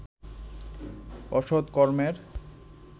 অসত কর্মের